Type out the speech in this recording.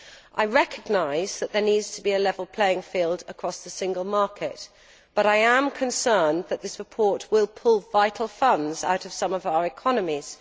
I recognise that there needs to be a level playing field across the single market, but I am concerned that this report will pull vital funds out of some of our economies.